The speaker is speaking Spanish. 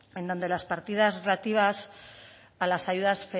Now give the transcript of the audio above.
en donde las partidas relativas a las ayudas